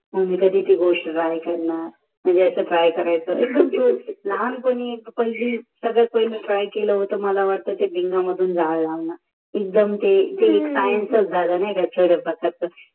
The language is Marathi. मी कधी गोष्टी करणार मनजे अस काये करायेचे लहान पाणी सगळ्या पाहिलं तर मला वाटते केल होत विन्डोमाधू जायला लावण ते एक सायन्सच झाल नाही का